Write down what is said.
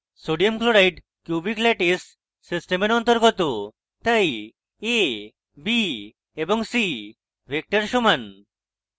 sodium chloride cubic lattice সিস্টেমের অন্তর্গত তাই a b এবং c vectors সমান